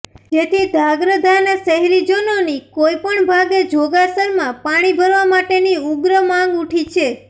જેથી ધ્રાંગધ્રાાના શહેરીજનોની કોઇ પણ ભાગે જોગાસરમાં પાણી ભરવા માટેની ઉગ્ર માંગ ઉઠી છે